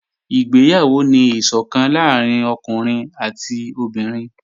Ìgbéyàwó ni ìsọ̀kan láàrín ọkùnrin àti obìnrin